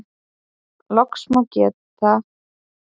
Loks má geta Pitcairn-eyju í Suður-Kyrrahafi.